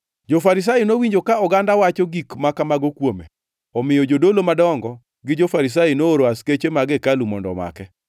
Jo-Farisai nowinjo ka oganda wacho gik ma kamago kuome, omiyo jodolo madongo gi jo-Farisai nooro askeche mag hekalu mondo omake.